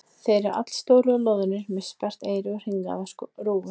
Þeir eru allstórir og loðnir með sperrt eyru og hringaða rófu.